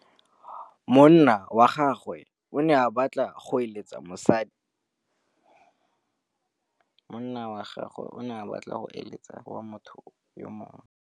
Monna wa gagwe o ne a batla go êlêtsa le mosadi wa motho yo mongwe.